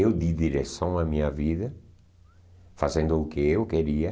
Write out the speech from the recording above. eu di direção à minha vida, fazendo o que eu queria.